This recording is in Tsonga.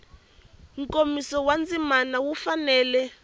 nkomiso wa ndzima wu fanele